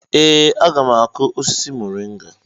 Ee, a ga m akụ osisi moringa..